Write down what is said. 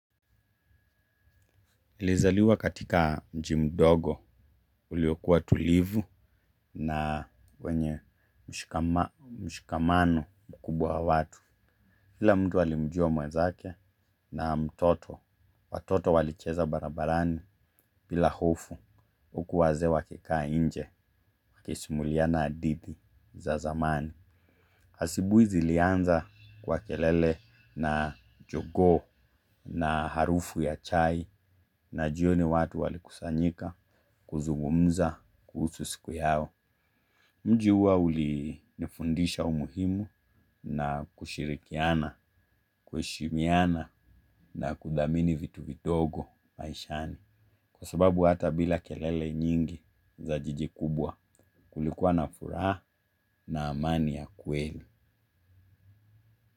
Nilizaliwa katika mji mdogo uliokuwa tulivu na wenye mshikamano mkubwa wa watu kila mtu alimjua mwezake na mtoto watoto walicheza barabarani bila hofu, huku wazee wakikaa nje wakisimuliana hadithi za zamani asubuhi zilianza kwa kelele na jongoo na harufu ya chai na jioni watu walikusanyika. Kuzugumza kuhusu siku yao. Mji huwa ulii nifundisha umuhimu na kushirikiana, kuheshimiana na kudhamini vitu vindogo maishani. Kwa sababu hata bila kelele nyingi za jiji kubwa kulikuwa na furaha na amani ya kweli.